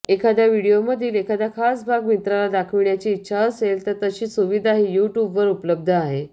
एखाद्या व्हिडिओमधील एखादा खास भाग मित्राला दाखविण्याची इच्छा असेल तर तशी सुविधाही यूट्यूबवर उपलब्ध आहे